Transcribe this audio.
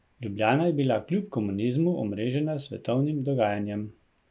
Ljubljana je bila kljub komunizmu omrežena s svetovnim dogajanjem.